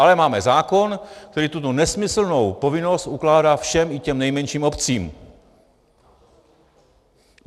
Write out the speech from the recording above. Ale máme zákon, který tuto nesmyslnou povinnost ukládá všem, i těm nejmenším obcím.